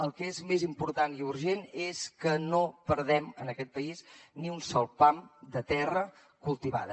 el que és més important i urgent és que no perdem en aquest país ni un sol pam de terra cultivada